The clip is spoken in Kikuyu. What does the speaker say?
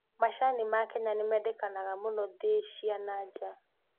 Macani ma Kenya nĩmendekanaga muno thĩ cia na nja